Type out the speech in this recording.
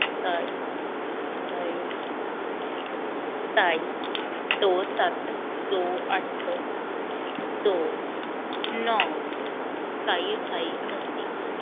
ਸਤਾਈ ਅਠਾਈ ਸਤਾਈ ਦੋ ਸੱਤ ਦੋ ਅੱਠ ਦੋ ਨੋ ਸਤਾਈ ਅਠਾਈ ਉੱਨਤੀ